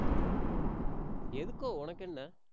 எதுக்கோ உனக்கு என்ன